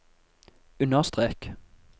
understrek